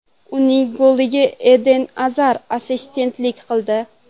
Uning goliga Eden Azar assistentlik qildi.